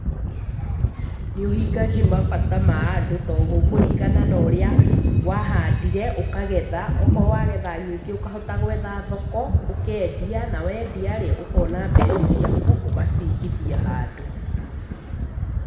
Nĩũhingagia mabata ma andũ tondũ gũkũringana na ũrĩa wahandire ũkagetha. Okorwo wagetha nyingĩ ũkahota gwetha thoko ũkendia na wendia rĩ ũkona mbeca ciaku ũgacigithia handũ.